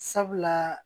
Sabula